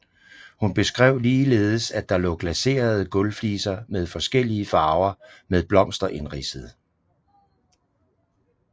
Hun beskrev ligeledes at der lå glaserede gulvfliser med forskellige farver med blomster indridsede